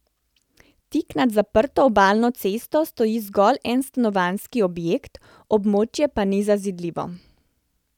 Tik nad zaprto obalno cesto stoji zgolj en stanovanjski objekt, območje pa ni zazidljivo.